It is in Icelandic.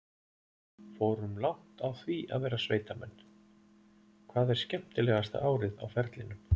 Fórum langt á því að vera sveitamenn: Hvað er skemmtilegasta árið á ferlinum?